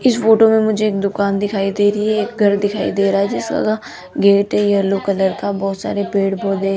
इस फोटो मे मुझे एक दुकान दिखाई दे रही है एक घर दिखाई दे रहा है जिस जगह गेट है येलो कलर का बहोत सारे पेड़ पौधे है।